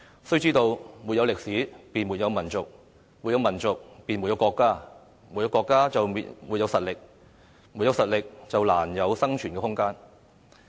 需知道，沒有歷史，便沒有民族；沒有民族，便沒有國家；沒有國家，便沒有實力；沒有實力，便難有生存的空間。